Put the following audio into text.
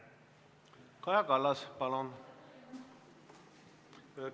Kaja Kallas, palun!